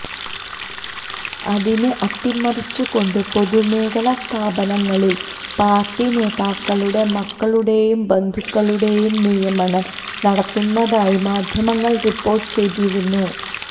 അതിനെ അട്ടിമറിച്ചുകൊണ്ട് പൊതുമേഖലാ സ്ഥാപനങ്ങളില് പാര്ട്ടി നേതാക്കളുടെ മക്കളുടേയും ബന്ധുക്കളുടേയും നിയമനം നടത്തുന്നതായി മാധ്യമങ്ങള് റിപ്പോര്ട്ട് ചെയ്തിരുന്നു